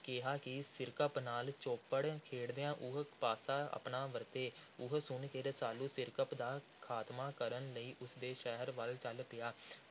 ਕਿਹਾ ਕਿ ਸਿਰਕੱਪ ਨਾਲ ਚੌਪੜ ਖੇਡਦਿਆਂ ਉਹ ਪਾਸਾ ਆਪਣਾ ਵਰਤੇ। ਇਹ ਸੁਣ ਕੇ ਰਸਾਲੂ ਸਿਰਕੱਪ ਦਾ ਖ਼ਾਤਮਾ ਕਰਨ ਲਈ ਉਸ ਦੇ ਸ਼ਹਿਰ ਵੱਲ ਚਲ ਪਿਆ।